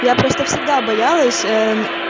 я просто всегда боялась